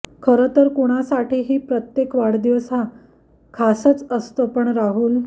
खरं तर कुणासाठीही प्रत्येक वाढदिवस हा खासंच असतो पण राहुल